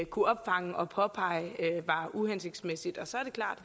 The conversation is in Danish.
kunne opfange og påpege var uhensigtsmæssigt og så er det klart